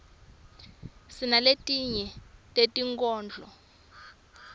sinaletinye tetinkhondlo